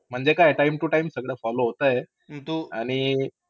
म्हणजे काय time-to-time सगळं follow होतं. आणि